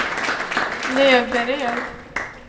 Löberöd